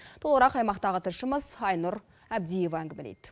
толығырақ аймақтағы тілшіміз айнұр әбдиева әңгімелейді